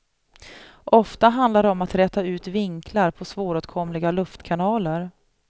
Ofta handlar det om att räta ut vinklar på svåråtkomliga luftkanaler.